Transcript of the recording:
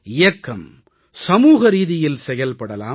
இயக்கம் சமூகரீதியில் செயல்படலாம்